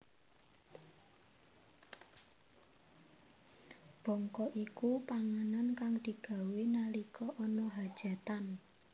Bongko iku panganan kang digawé nalika ana khajatan